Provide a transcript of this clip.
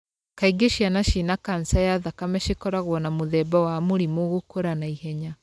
Kaingĩ ciana cina kanca ya thakame cikoragwo na mũthemba wa mũrimũ gũkũra naihenya.